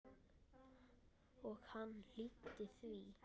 Og hann hlýddi því.